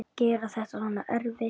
Gera þetta svona erfitt.